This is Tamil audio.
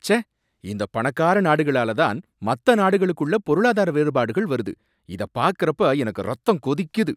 ச்சே! இந்தப் பணக்கார நாடுங்களால தான் மத்த நாடுகளுக்குள்ள பொருளாதார வேறுபாடுகள் வருது, இத பார்க்கறப்ப எனக்கு ரத்தம் கொதிக்குது.